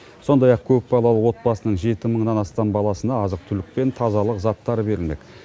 сондай ақ көпбалалы отбасының жеті мыңнан астам баласына азық түлік пен тазалық заттары берілмек